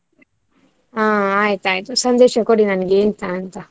ಹಾ ಆಯ್ತಾಯ್ತು . ಸಂದೇಶ ಕೊಡಿ ನನ್ಗೆ ಎಂತ ಅಂತ.